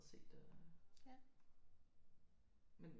Se det men